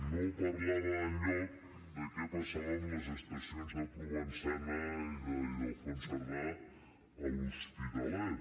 no parlava enlloc de què passava amb les estacions de provençana i d’ildefons cerdà a l’hospitalet